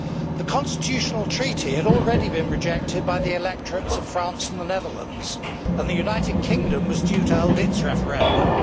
The Constitutional Treaty had already been rejected by the electorates of France and the Netherlands, and the United Kingdom was due to hold its referendum.